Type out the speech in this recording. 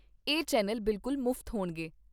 ਇਹ ਚੈਨਲ ਬਿਲਕੁਲ ਮੁਫ਼ਤ ਹੋਣਗੇ।